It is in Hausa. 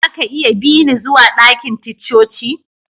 Za ka iya bi ni zuwa dakin ticcoci?